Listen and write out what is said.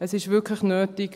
Es ist wirklich nötig.